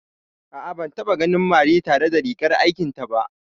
A'a, ban taɓa ganin Mary ba tare da rigar aikin ta ba